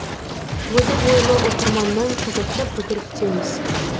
озық ойлы оқырманнан қызықты пікір күтеміз